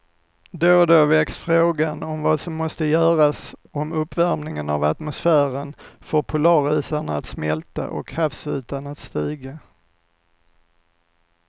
Då och då väcks frågan om vad som måste göras om uppvärmingen av atmosfären får polarisarna att smälta och havsytan att stiga.